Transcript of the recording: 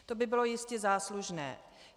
To by bylo jistě záslužné.